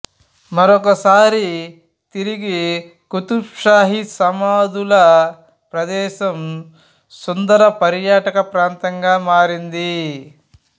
మరొకసారి తిరిగి కుతుబ్ షాహి సమాధుల ప్రదేశం సుందర పర్యాటక ప్రాంతంగా మారింది